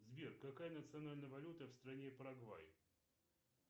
сбер какая национальная валюта в стране парагвай